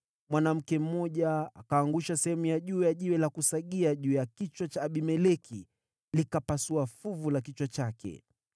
mwanamke mmoja akaangusha sehemu ya juu ya jiwe la kusagia juu ya kichwa cha Abimeleki, likapasua fuvu la kichwa chake.